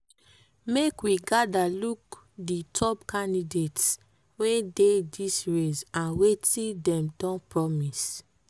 make we gada look di top candidates wey dey dis race and wetin dem don promise.